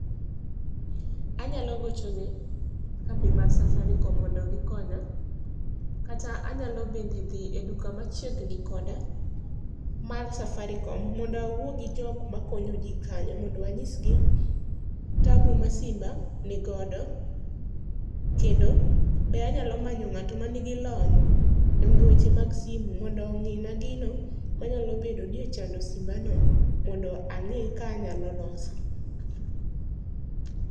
Anyalo gochone kambi mar safaricom mondo gikonya. kata anyalo bende dhi e duka machiegni koda, mar Safaricom mondo awuo gi jokma konyo ji kanyo mondo anyisgi tabu ma simba nigodo, kendo, be anyalo manyo ng'ato manigi lony e weche mag simu mondo ong'i na gino ma nyalo bedo ni ochando simbano mondo ang'i ka anyalo loso.